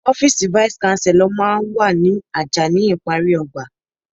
Ọ́fíìsì vice-Chancellor máa ń wà ní àjà ní ìparí ọgbà.